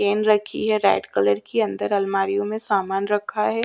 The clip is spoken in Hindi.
पिन रखी है रेड कलर कि अंदर अलमारियो में सामान रखा है।